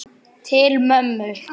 Til mömmu.